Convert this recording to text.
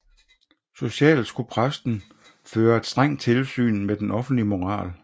Socialt skulle præsten føre et strengt tilsyn med den offentlige moral